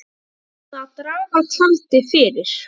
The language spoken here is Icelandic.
Það er búið að draga tjaldið fyrir.